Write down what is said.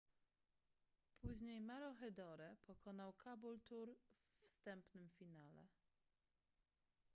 później maroochydore pokonał caboolture we wstępnym finale